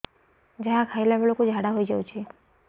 ଯାହା ଖାଇଲା ବେଳକୁ ଝାଡ଼ା ହୋଇ ଯାଉଛି